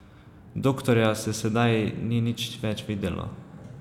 Doktorja se sedaj ni nič več videlo.